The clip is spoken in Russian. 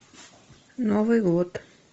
новый год